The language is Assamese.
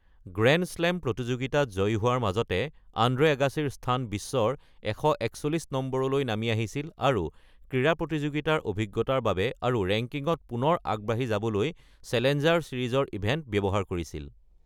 গ্ৰেণ্ড শ্লেম প্ৰতিযোগিতাত জয়ী হোৱাৰ মাজতে, আন্দ্ৰে আগাছীৰ স্থান বিশ্বৰ ১৪১ নম্বৰলৈ নামি আহিছিল আৰু ক্ৰীড়া প্ৰতিযোগিতাৰ অভিজ্ঞতাৰ বাবে আৰু ৰেংকিঙত পুনৰ আগবাঢ়ি যাবলৈ চেলেঞ্জাৰ ছিৰিজৰ ইভেণ্ট ব্যৱহাৰ কৰিছিল।